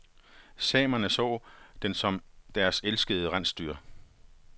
Samerne så den som et af deres elskede rensdyr.